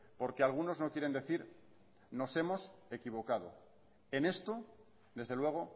porque algunos no quieren decir nos hemos equivocado en esto desde luego